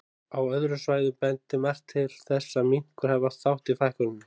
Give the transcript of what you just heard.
Á öðrum svæðum bendir margt til þess að minkur hafi átt þátt í fækkuninni.